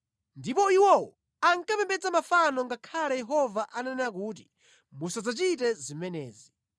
Ndipo iwowo ankapembedza mafano ngakhale Yehova ananena kuti, “Musadzachite zimenezi.”